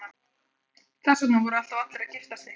Þess vegna voru alltaf allir að giftast einhverjum.